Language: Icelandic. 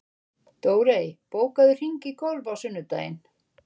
Dórey, bókaðu hring í golf á sunnudaginn.